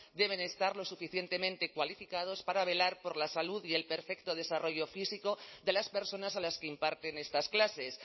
deben estar lo suficientemente cualificados para velar por la salud y el perfecto desarrollo físico de las personas a las que imparten estas clases